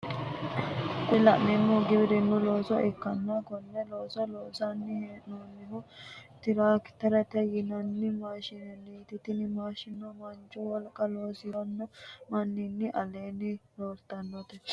kuni la'neemohu giwirinnu looso ikkanna konne looso lonsanni he'noonihu tirakterete yinanni maashinenniiti tini maashineno manchu wolqanni losiranno mannini aleenni rakkannote.